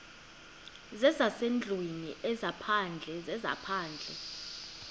zezasendlwini ezaphandle zezaphandle